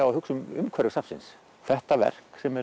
að hugsa um umhverfi safnsins þetta verk sem